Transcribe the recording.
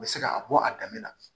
U bɛ se ka bɔ a daminɛ na